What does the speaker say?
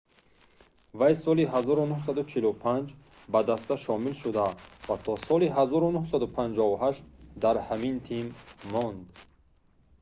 вай соли 1945 ба даста шомил шуд ва то соли 1958 да ҳамин тим монд